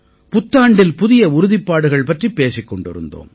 புத்தாண்டில் புதிய உறுதிப்பாடுகள் பற்றிப் பேசிக் கொண்டிருந்தோம்